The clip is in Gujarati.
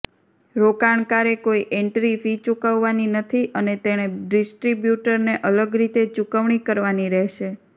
રોકાણકારે કોઈ એન્ટ્રી ફી ચૂકવવાની નથી અને તેણે ડિસ્ટ્રિબ્યુટરને અલગ રીતે ચુકવણી કરવાની રહેશે